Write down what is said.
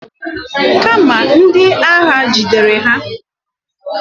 Kama na ndi agha jidere ha.